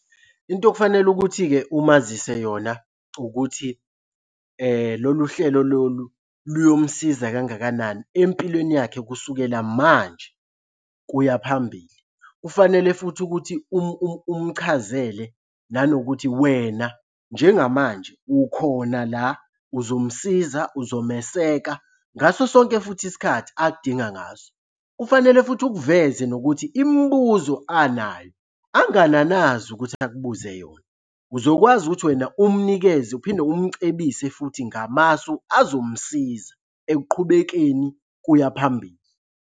Into okufanele ukuthi-ke umazise yona ukuthi lolu hlelo lolu luyomusiza kangakanani empilweni yakhe kusukela manje kuya phambili. Kufanele futhi ukuthi umchazele nanokuthi wena njengamanje ukhona la uzomsiza uzomeseka ngaso sonke futhi isikhathi akudinga ngaso. Kufanele futhi ukuveze nokuthi imibuzo anayo angananazi ukuthi akubuze yona. Uzokwazi ukuthi wena umnikeze uphinde umcebise futhi ngamasu azomsiza ekuqhubekeni kuya phambili.